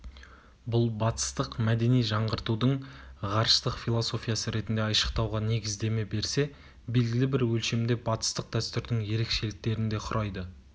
бұл батыстық мәдени жаңғыртудың ғарыштық философиясы ретінде айшықтауға негіздеме берсе белгілі бір өлшемде батыстық дәстүрдің ерекшеліктерін де құрайды